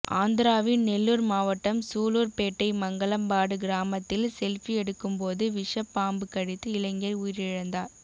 ஆந்திராவின் நெல்லூர் மாவட்டம் சூலூர்பேட்டை மங்களம்பாடு கிராமத்தில் செல்பி எடுக்கும்போது விஷப்பாம்பு கடித்து இளைஞர் உயிரிழந்தார்